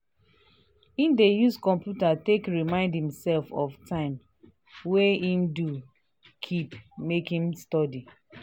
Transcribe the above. she dey carry first hour of di day take plan and reason things.